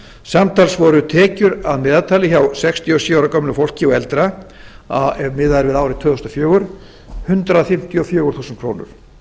samtals voru tekjur að meðaltali hjá sextíu og sjö ára gömlu fólki og eldra ef miðað er við árið tvö þúsund og fjögur hundrað fimmtíu og fjögur þúsund krónur